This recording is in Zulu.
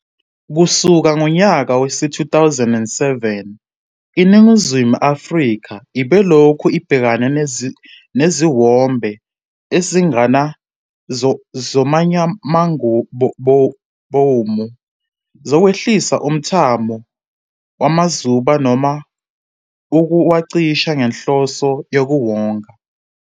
Kusuka ngonyaka wezi-2007, iNingizimu Afrika ibilokhu ibhekene neziwombe eziningana zomnyamangabomu zokwehlisa umthamo wamazuba noma ukuwacisha ngenhloso yokuwonga.